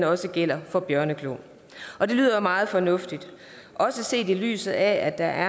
også gælder for bjørneklo og det lyder jo meget fornuftigt også set i lyset af at der